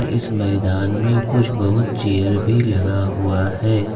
इस मैदान में कुछ बहुत चेयर भी लगा हुआ है।